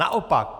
Naopak.